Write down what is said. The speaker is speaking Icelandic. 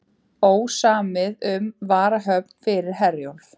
Ósamið um varahöfn fyrir Herjólf